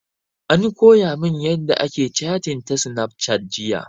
An koya mun yanda ake catin ta snafcat jiya